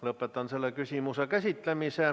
Lõpetan selle küsimuse käsitlemise.